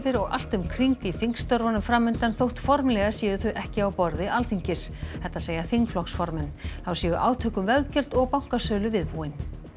og allt um kring í þingstörfunum fram undan þótt formlega séu þau ekki á borði Alþingis þetta segja þingflokksformenn þá séu átök um veggjöld og bankasölu viðbúin